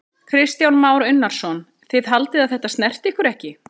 Kristján Már Unnarsson: Þið haldið að þetta snerti ykkur ekki?